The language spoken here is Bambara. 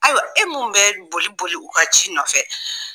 Ayiwa e min bɛ boli-boli u ka ci nɔfɛ